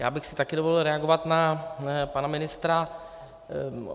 Já bych si taky dovolil reagovat na pana ministra.